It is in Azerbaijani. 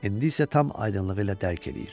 İndi isə tam aydınlığı ilə dərk eləyir.